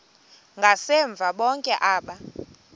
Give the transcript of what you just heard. ngasemva bonke aba